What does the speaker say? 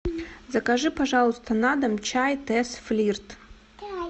закажи пожалуйста на дом чай тесс флирт